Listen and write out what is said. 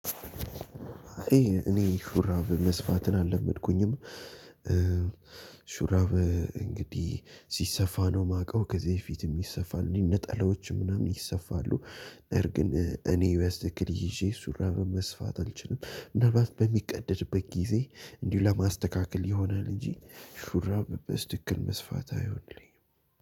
እኔ ሹራብ መስፋትን አልለመድኩኝም። ሹራብ እንግዲህ ሲሰፋ ነው የማውቀው ከዚህ በፊት የሚሰፋልኝ ነጠላዎች ምናምን ይሰፋሉ። እር ግጥ እኔ በስትክክል ይዤ እሱን ሹራብ መስፋት አልችልም። ምናልባት በሚቀደድበት ጊዜ እንዲሁ ለማስተካከል ይሆናል እንጂ ሹራብ በስትክል መስፋት አይሆንልኝም።